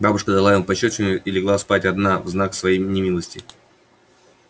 бабушка дала ему пощёчину и легла спать одна в знак своей немилости